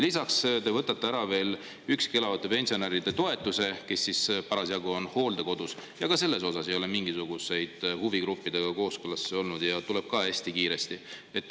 Lisaks te võtate ära üksi elavate pensionäride toetuse, kui nad parasjagu on hooldekodus, ja ka selles ei ole huvigruppidega mingisuguseid kooskõlastusi olnud, see tuleb ka hästi kiiresti.